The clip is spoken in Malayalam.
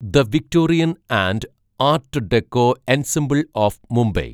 the Victorian and art deco ensemble of Mumbai